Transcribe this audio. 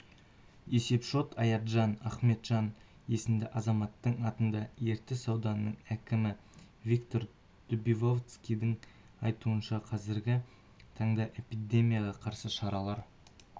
есеп-шот аятжан ахметжан есімді азаматтың атында ертіс ауданының әкімі виктор дубовицкийдің айтуынша қазіргі таңда эпидемияға қарсы шаралар